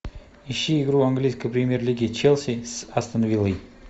ищи игру английской премьер лиги челси с астон виллой